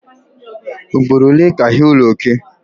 Ugboro ole ka ị hụla oke?